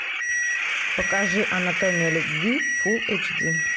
покажи анатомия любви фул эйч ди